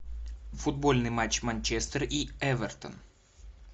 футбольный матч манчестер и эвертон